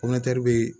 be